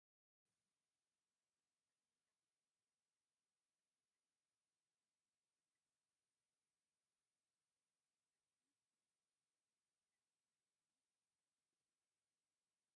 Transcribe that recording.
ኣብ ፃሕሊ ቶኽ ኢላ ዝበሰለት ቆንጆ ፀብሒ ኣላ፡፡ ብኸምዚ ኣገባብ ኣብ ፃሕሊ ዝበሰለ ፀብሒ ምቁር እዩ፡፡ ብልዐኒ ብልዐኒ ዝብል መስሕብ ኣለዎ፡፡